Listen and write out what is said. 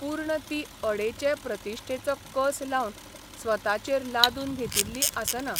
पूर्ण ती अडेचे प्रतिश्ठेचो कस लावन स्वताचेर लादून घेतिल्ली आसना.